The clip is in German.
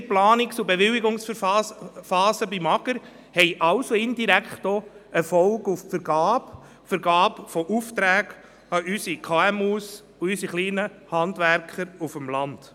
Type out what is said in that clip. Längere Planungs- und Bewilligungsphasen beim AGR haben also indirekt auch Folgen für die Vergabe von Aufträgen an unsere KMU und unsere kleinen Handwerker auf dem Land.